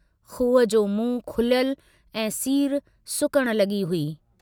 खूह जो मुंहं खुलियलु ऐं सीर सुकण लगी हुई।